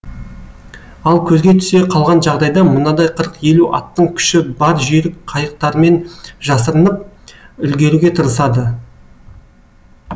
ал көзге түсе қалған жағдайда мынадай қырық елу аттың күші бар жүйрік қайықтармен жасырынып үлгеруге тырысады